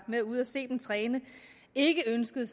med ude at se dem træne ikke ønskede